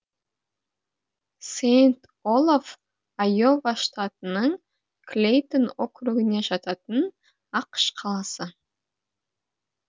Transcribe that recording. сэйнт олаф айова штатының клейтон округіне жататын ақш қаласы